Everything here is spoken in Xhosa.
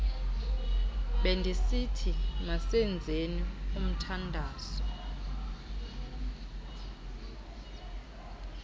bendisithi masenzeni umthandazo